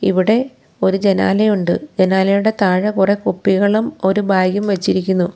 ഇവിടെ ഒരു ജനാലയുണ്ട് ജനാലയുടെ താഴെ കുറേ കുപ്പികളും ഒരു ബാഗ് ഉം വെച്ചിരിക്കുന്നു.